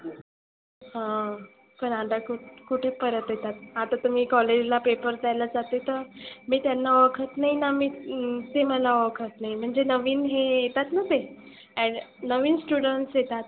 हां पण आता खुप कुठे परत येतात. आता तर मी college ला paper द्यायला जाते तर मी त्यांना ओळखत नाही ना ते मला ओळखत नाही. म्हणजे नविन जे येतात ना ए नविन students येतात.